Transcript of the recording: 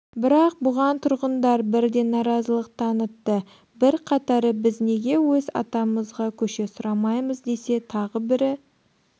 бірақ бұған тұрғындар бірден наразылық танытты бірқатары біз неге өз атамызға көше сұрамаймыз десе тағы бірі